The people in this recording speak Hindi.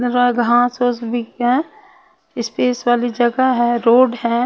यहाँ घास फूस भी है स्पेस वाली जगह है रोड है.